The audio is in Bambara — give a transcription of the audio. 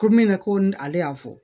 Ko min na ko ni ale y'a fɔ